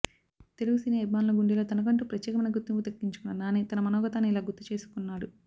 తెలుగు సినీ అభిమానుల గుండెల్లో తనకంటూ ప్రత్యేమైన గుర్తింపు దక్కించుకున్న నాని తన మనోగతాన్ని ఇలా గుర్తు చేసుకున్నాడు